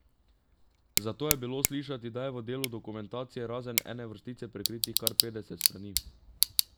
Zato je bilo slišati, da je v delu dokumentacije razen ene vrstice prekritih kar petdeset strani.